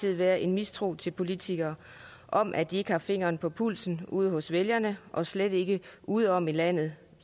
tid været en mistro til politikere om at de ikke har fingeren på pulsen ude hos vælgerne og slet ikke ude om i landet